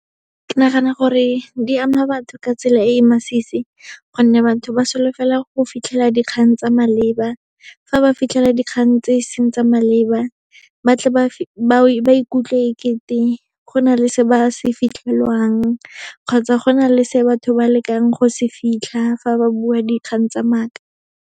Ke nagana gore di ama batho ka tsela e e masisi, gonne batho ba solofela go fitlhela dikgang tsa maleba. Fa ba fitlhela dikgang tse e seng tsa maleba, batle ba ikutlwe e kete go na le se ba se fitlhelwang kgotsa go na le se batho ba lekang go se fitlha, fa ba bua dikgang tsa maaka.